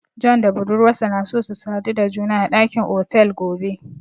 John da budurwarsa na so su sadu da juna a dakin otel gobe.